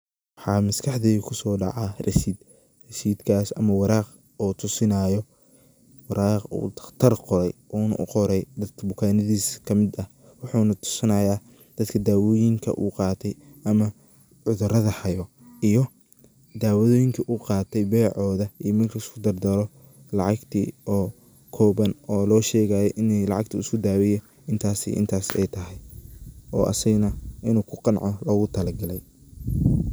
Waxaa maskaxdeyda kuso daca rasid. Rashidkas ama waraq oo tusinayo waraq uu daktar qoray, una uu qoray dadka bukanadisa ka mid ah , wuxuna tusinaya dadka dawoyinka u qatay ama cudurada hayo iyo dawadoyinka u qatay becoda iyo marki laisku dardaro lacagti oo koban oo loshegayo ini lacagti uu isku daweye intasi iyo intasi ay tahay, oo asagana inu kuqanco logutala galey.